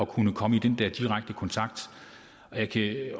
kunne komme i direkte kontakt og jeg kan